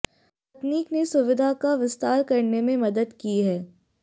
तकनीक ने सुविधा का विस्तार करने में मदद की है